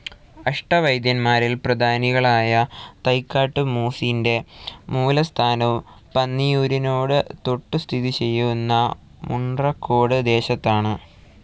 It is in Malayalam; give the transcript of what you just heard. അഷ്ടവൈദ്യൻമാരിൽ പ്രധാനികളായ തൈക്കാട്ടു മൂസിന്റെ മൂലസ്ഥാനവും പന്നിയൂരിനോട് തൊട്ടുസ്ഥിതിചെയ്യുന്ന മുൺട്രക്കോട് ദേശത്താണ്.